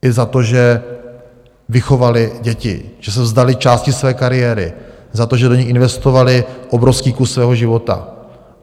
I za to, že vychovaly děti, že se vzdaly části své kariéry, za to, že do nich investovaly obrovský kus svého života.